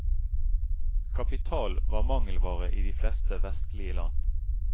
Kapital var mangelvare i de fleste vestlige land.